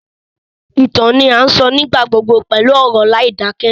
Ìtàn ni a sọ nígbà gbogbo pẹlu ọ̀rọ̀ láìdakẹ